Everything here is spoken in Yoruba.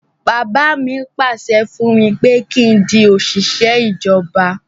Bàbá mi pàṣẹ fún mi pé kí n di òṣìṣẹ́ ìjọba